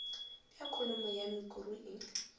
bja kholomo ya mekhuri e